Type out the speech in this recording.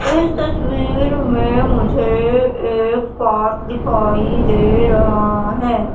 इस तस्वीर में मुझे एक पार्क दिखाई दे रहा है।